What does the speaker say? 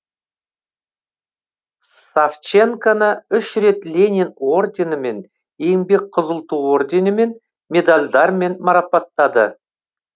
савченконі үш рет ленин орденімен еңбек қызыл ту орденімен медальдармен марапатады